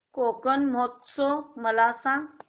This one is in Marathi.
कोकण महोत्सव मला सांग